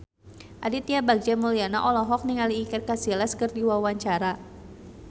Aditya Bagja Mulyana olohok ningali Iker Casillas keur diwawancara